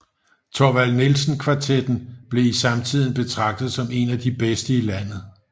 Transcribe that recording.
Thorvald Nielsen Kvartetten blev i samtiden betragtet som en af de bedste i landet